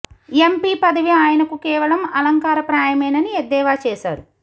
MP పదవి ఆయనకు కేవలం అలంకార ప్రాయమేనని ఎద్దేవా చేశారు